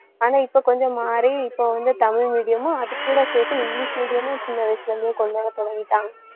ஆனா இப்ப கொஞ்சம் மாறி இப்ப வந்து தமிழ் medium மும் அதுகூட சேர்த்து இங்கிலிஷ் medium மும் சின்ன வயசுல இருந்ந்தே கொண்டுவர தொடங்கிட்டாங்க.